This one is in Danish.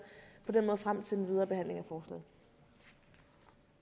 for